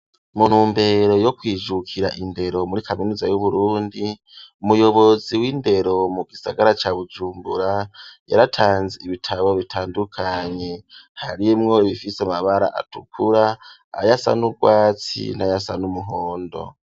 Mu ntumbere yo kwijukira indero muri kaminuza y'uburundi umuyobozi w'indero mu gisagara ca bujunbura yaratanze ibitabo bitandukanye harimwo bifise amabara atukura ayasa n'ubwatsi n'ayasa n'umuhondo.